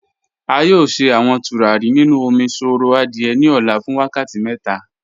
A yọ̀ọ̀ sẹ̀ awọn tùràrí nínu òmíṣọ̀rọ̀ adié ní ò̩là fún wákàtí mẹ́ta.